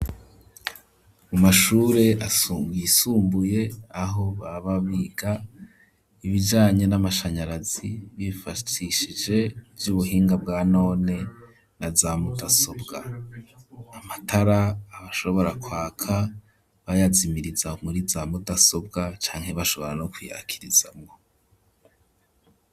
Mu mashure yisumbuye aho baba biga ibijanye n'amashanyarazi bifashishije ivyubuhinga bwa none naza mudasobwa amatara abashobora kwaka bayazimiriza muri za mudasobwa cane bashobora no kuyakirizamwo.